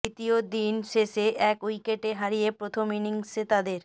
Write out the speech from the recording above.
দ্বিতীয় দিন শেষে এক উইকেট হারিয়ে প্রথম ইনিংসে তাদের